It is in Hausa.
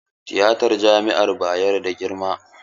Tiyatan jami'ar Bayero na da girma?